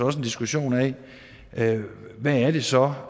en diskussion af hvad det så